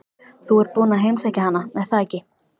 Þú ert búinn að heimsækja hana, er það ekki?